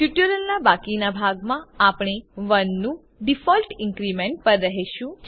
ટ્યુટોરીયલના બાકીના ભાગમાં આપણે 1 નું ડીફોલ્ટ ઇન્ક્રીમેન્ટ પર રહેશું